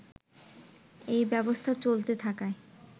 এই ব্যবস্থা চলতে থাকায়